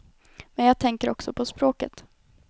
Men jag tänker också på språket.